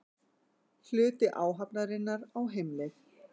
Hluti áhafnarinnar á heimleið